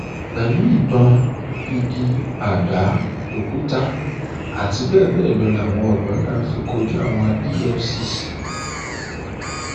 pẹlú ìbọn igi àdá òkúta àti bẹẹ bẹẹ lọ làwọn odò náà fi kojú àwọn efcc